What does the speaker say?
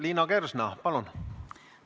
Liina Kersna, palun!